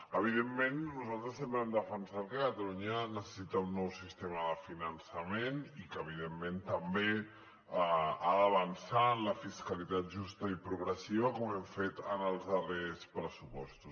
evidentment nosaltres sempre hem defensat que catalunya necessita un nou sistema de finançament i que evidentment també ha d’avançar en la fiscalitat justa i progressiva com hem fet en els darrers pressupostos